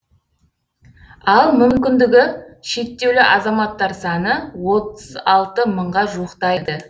ал мүкіндігі шектеулі азаматтар саны отыз алты мыңға жуықтайды